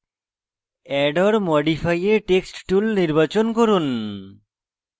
add or modify a text tool নির্বাচন করুন